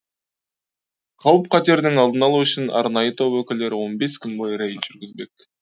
қауіп қатердің алдын алу үшін арнайы топ өкілдері он бес күн бойы рейд жүргізбек